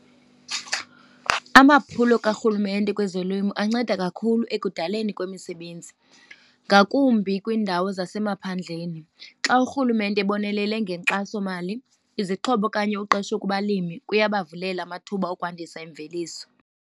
Amaphulo karhulumente kwezolimo anceda kakhulu ekudaleni kwemisebenzi ngakumbi kwiindawo zasemaphandleni. Xa urhulumente ebonelele ngenkxasomali, izixhobo okanye uqesho kubalimi, kuyabavulela amathuba okwandisa imveliso.